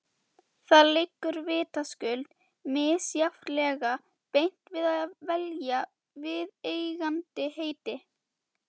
Það liggur vitaskuld misjafnlega beint við að velja viðeigandi heiti.